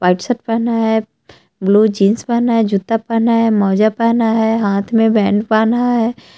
White shirt पहना है blue jeans पहना है जूता पहना है मोजा पहना है हाथ में बैंड पहना है।